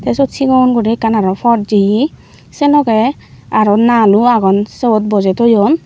sot siot guri ekkan aro pot jeye senoge aro nalo aggon seot boje toyon.